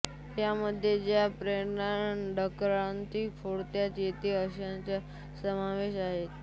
यामध्ये ज्या प्राण्यांना डरकाळी फोडता येते अशांचा समावेश आहे